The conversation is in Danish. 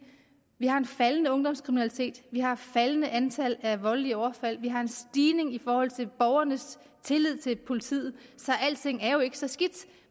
vi har en faldende ungdomskriminalitet vi har et faldende antal af voldelige overfald vi har en stigning i forhold til borgernes tillid til politiet så alting er jo ikke så skidt